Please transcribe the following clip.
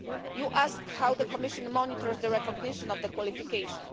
You asked how the Commission monitors the recognition of the qualification.